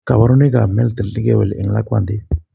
Koborunoik lubanikab meltet nekewel en lakwandit.